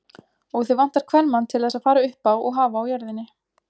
Og þig vantar kvenmann til þess að fara uppá og hafa á jörðinni.